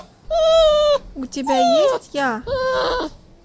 у тебя есть я